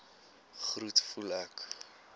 groet voel ek